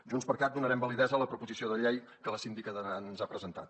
junts per cat donarem validesa a la proposició de llei que la síndica d’aran ens ha presentat